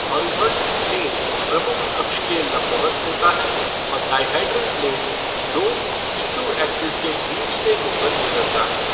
Horizontal plane प्रमुख अक्ष के लंबवत होता है और डाइहेड्रल प्लेन दो सी टू ऐक्सिस के बीच से हो कर गुज़रता है।